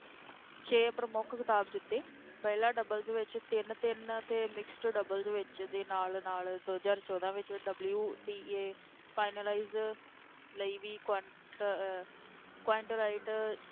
ਛੇ ਪ੍ਰਮੁੱਖ ਖਿਤਾਬ ਜਿੱਤੇ ਮਹਿਲਾ doubles ਵਿੱਚ ਤਿੰਨ-ਤਿੰਨ ਅਤੇ mixed doubles ਵਿੱਚ ਦੇ ਨਾਲ ਨਾਲ ਦੋ ਹਜ਼ਾਰ ਚੋਦਾਂ ਵਿੱਚ WTA finalize ਲਈ ਵੀ qwant~ ਅਹ qwant lite